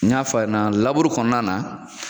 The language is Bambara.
N y'a f'a ɲɛna laburu kɔnɔna na